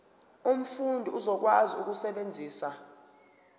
umfundi uzokwazi ukusebenzisa